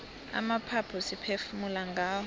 amaphaphu siphefumula ngawo